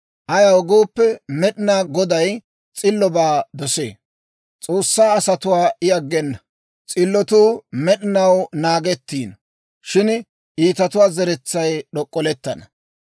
Ayaw gooppe, Med'inaa Goday s'illobaa dosee. S'oossaa asatuwaa I aggena; s'illotuu med'inaw naagettiino. Shin iitatuwaa zeretsay d'ok'ollettana.